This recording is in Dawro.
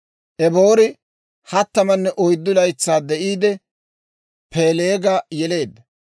Eboori 34 laytsaa de'iide, Peeleega yeleedda;